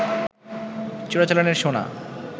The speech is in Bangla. চোরাচালানের সোনা